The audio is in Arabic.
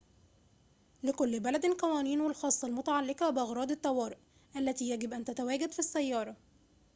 لكل بلدٍ قوانينه الخاصة المتعلقة بأغراض الطوارئ التي يجب أن تتواجد في السيارة